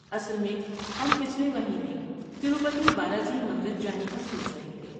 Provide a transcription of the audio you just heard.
اصل میں ہم پچھلے مہینے تروپتی بالاجی مندر جانے کا سوچ رہے تھے۔